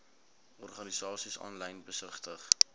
organisasies aanlyn besigtig